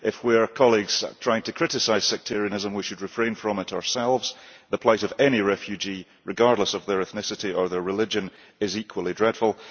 If we are trying to criticise sectarianism, we should refrain from it ourselves. The plight of any refugee, regardless of their ethnicity or their religion, is equally dreadful.